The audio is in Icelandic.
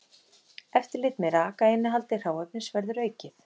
Eftirlit með rakainnihaldi hráefnis verður aukið